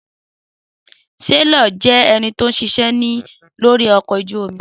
Sailor jẹ́ ẹnití ó ń ṣiṣẹ́ lórí ọkọ̀ ojú omi